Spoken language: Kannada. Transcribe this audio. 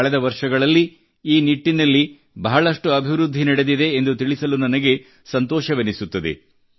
ಕಳೆದ ವರ್ಷಗಳಲ್ಲಿ ಈ ನಿಟ್ಟಿನಲ್ಲಿ ಬಹಳಷ್ಟು ಅಭಿವೃದ್ಧಿ ನಡೆದಿದೆ ಎಂದು ನನಗೆ ಸಂತೋಷವೆನಿಸುತ್ತದೆ